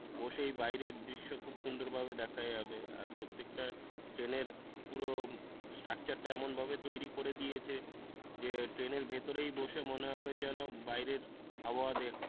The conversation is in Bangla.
বসেই বাইরের দৃশ্য খুব সুন্দরভাবে দেখা যাবে আর প্রত্যেকটা ট্রেনের পুরো স্ট্রাকচারটা এমনভাবে তৈরি করে দিয়েছে ট্রেনের ভেতরেই বসে মনে হবে যেন বাইরে আবহাওয়া দেখছি।